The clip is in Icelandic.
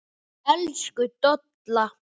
Elsku Dolla.